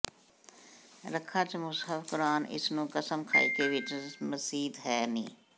ਰੱਖਾਂ ਚਾ ਮੁਸਹਫ ਕੁਰਆਨ ਇਸ ਨੂੰ ਕਸਮ ਖਾਇਕੇ ਵਿੱਚ ਮਸੀਤ ਹੈ ਨੀ